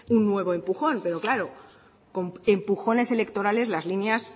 un nuevo empujón pero claro con empujones electorales las líneas